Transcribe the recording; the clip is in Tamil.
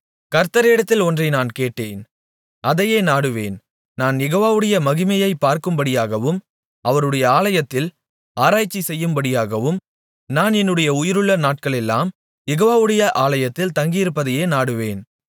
கர்த்தரிடத்தில் ஒன்றை நான் கேட்டேன் அதையே நாடுவேன் நான் யெகோவாவுடைய மகிமையைப் பார்க்கும்படியாகவும் அவருடைய ஆலயத்தில் ஆராய்ச்சி செய்யும்படியாகவும் நான் என்னுடைய உயிருள்ள நாட்களெல்லாம் யெகோவாவுடைய ஆலயத்தில் தங்கியிருப்பதையே நாடுவேன்